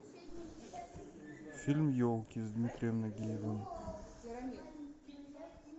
фильм елки с дмитрием нагиевым